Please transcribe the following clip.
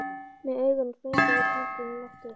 Með augunum sprengi ég tankinn í loft upp.